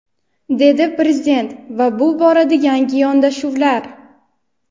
dedi Prezident va bu borada yangi yondashuvlar:.